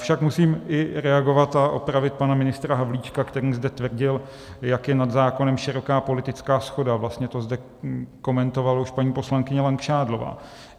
Avšak musím i reagovat a opravit pana ministra Havlíčka, který zde tvrdil, jak je nad zákonem široká politická shoda, vlastně to zde komentovala už paní poslankyně Langšádlová.